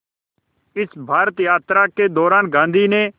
इस भारत यात्रा के दौरान गांधी ने